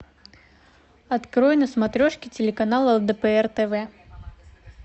открой на смотрешке телеканал лдпр тв